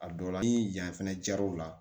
A dɔw la ni yan fɛnɛ jar'u la